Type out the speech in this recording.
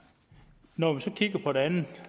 når jeg så kigger på det andet